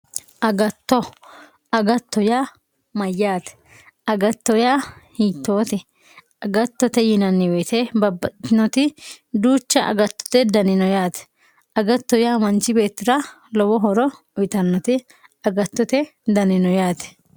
agatto agatto yaa mayyaate agatto yaa hiittoote agattote yinanni woyiite babbaxxitinoti duucha agattote dani no yaate agatto yaa manchi beetira lowo horo utiitannoti agattote dani no yaate.